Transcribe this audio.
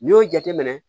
N'i y'o jateminɛ